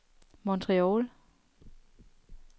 Montreal